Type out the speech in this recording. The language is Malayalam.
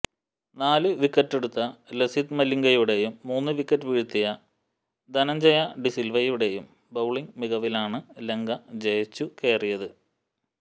നാല് വിക്കറ്റെടുത്ത ലസിത് മലിംഗയുടേയും മൂന്ന് വിക്കറ്റ് വീഴ്ത്തിയ ധനഞ്ജയ ഡിസിൽവയുടേയും ബൌളിംഗ് മികവിലാണ് ലങ്ക ജയിച്ചുകയറിയത്